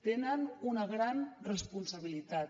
tenen una gran responsabilitat